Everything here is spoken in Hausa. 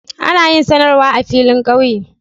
Ana yin sanarwa a filin kauye.